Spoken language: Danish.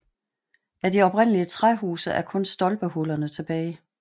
Af de oprindelige træhuse er kun stolpehullerne tilbage